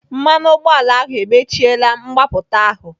Mmanụ ụgbọala ahụ emechiela mgbapụta ahụ.